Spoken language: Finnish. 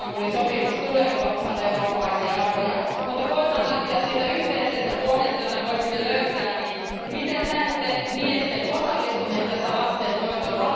Istanbulin sopimus tulee olla osana eurooppalaisia arvoja, mutta koetan lähteä siitä yhteisestä pohjasta, jota voisimme löytää, niin miten näette miesten osallistumisen lastenhoitoon?